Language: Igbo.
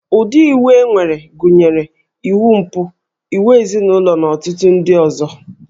Ụdị iwu e nwere gụnyere iwu mpụ, iwu ezinụlọ na ọtụtụ ndị ọzọ